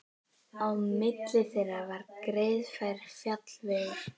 Á milli þeirra var greiðfær fjallvegur.